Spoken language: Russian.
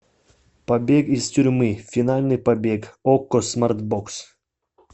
побег из тюрьмы финальный побег окко смарт бокс